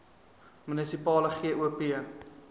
munisipale gop